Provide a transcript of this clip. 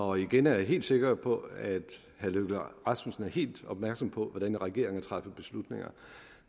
og igen er jeg helt sikker på at herre løkke rasmussen er helt opmærksom på hvordan regeringer træffer beslutninger